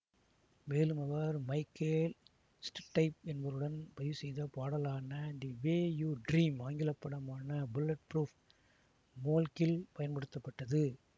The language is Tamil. மேலும் அவர் மைகேல் ஸ்ட்டைப் என்பவருடன் பதிவு செய்த பாடலான தி வே யு ட்ரீம் ஆங்கிலப்படமான புல்லெட்ப்ரூப் மோன்கில் பயன்படுத்தப்பட்டது